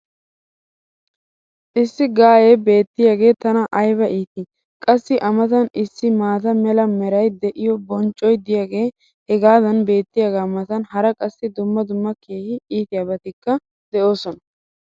issi gaayee beetiyaagee tana ayba iitii! qassi a matan issi maata mala meray de'iyo bonccoy diyaagee hagan beetiyaagaa matan hara qassi dumma dumma keehi iittiyaabatikka de'oosona.